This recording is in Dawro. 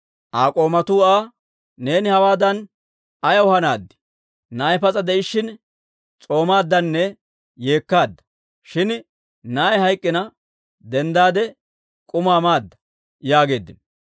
Aa k'oomatuu Aa, «Neeni hawaadan ayaw hanaad? Na'ay pas'a de'ishshin s'oomaaddanne yeekkaadda; shin na'ay hayk'k'ina denddaade, k'umaa maada!» yaageeddino.